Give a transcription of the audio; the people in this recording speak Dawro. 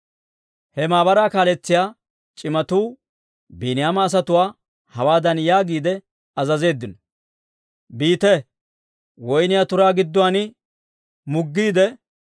He maabaraa kaaletsiyaa c'imatuu Biiniyaama asatuwaa hawaadan yaagiide azazeeddino; «Biite; woyniyaa turaa gidduwaan muggiide,